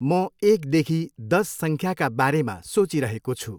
म एकदेखि दस सङ्ख्याका बारेमा सोचिरहेको छु।